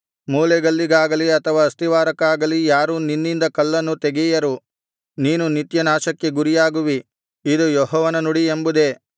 ಮೂಲೆಗಲ್ಲಿಗಾಗಲಿ ಅಥವಾ ಅಸ್ತಿವಾರಕ್ಕಾಗಲಿ ಯಾರೂ ನಿನ್ನಿಂದ ಕಲ್ಲನ್ನು ತೆಗೆಯರು ನೀನು ನಿತ್ಯನಾಶಕ್ಕೆ ಗುರಿಯಾಗುವಿ ಇದು ಯೆಹೋವನ ನುಡಿ ಎಂಬುದೇ